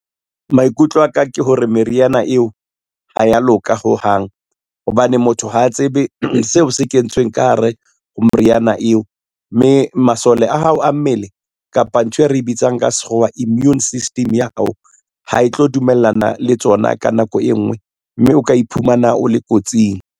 Maikutlo aka ke hore meriana eo, ha ya loka hohang hobane motho ha a tsebe seo se kentsweng ka hare ho moriana eo, mme mo masole a hao a mmele kapa ntho e re bitsang ka sekgowa immune system ya hao, ha e tlo dumellana le tsona ka nako e ngwe, mme o ka iphumana o le kotsing.